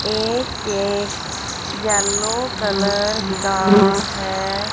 ये cake yellow colour का हैं।